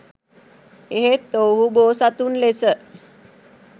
එහෙත් ඔවුහු බෝසතුන් ලෙස